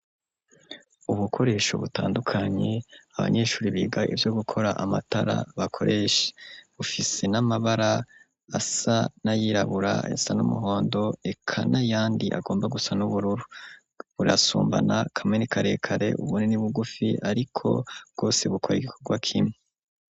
Ubukoresho butandukanye abanyeshuri biga ivyo gukora amatara bakoresha ,bufise n'amabara asa na yirabura ,ayasa n'umuhondo eka nayandi agomba gusa n'ubururu, burasumbana kamwe ni karekare ubundi ni bugufi ariko bwose bukora igikorwa kimwe.